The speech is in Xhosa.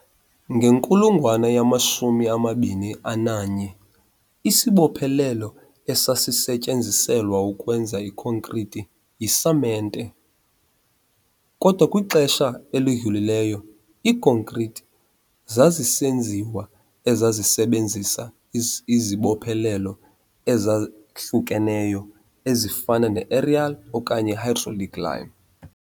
Ngenkulungwane yamashumi amabini ananye isibophelelo esasisetyenziselwa ukwenza ikhonkrithi yisamente, kodwa kwixesha elidlulileyo iikonkrithi zazisenziwa ezazisebenzisa izibophelelo ezahlukeneyo ezifana ne -aerial okanye i-hydraulic lime.